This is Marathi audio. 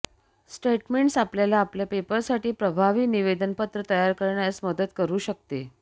स्टेटमेंट्स आपल्याला आपल्या पेपरसाठी प्रभावी निवेदनपत्र तयार करण्यास मदत करू शकते